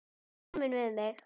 Ertu feimin við mig?